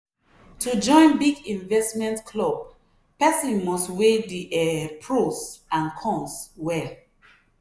to join big investment club person must weigh the um pros and cons well.